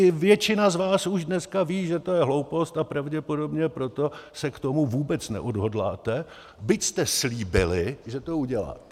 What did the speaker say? I většina z vás už dneska ví, že to je hloupost, a pravděpodobně proto se k tomu vůbec neodhodláte, byť jste slíbili, že to uděláte.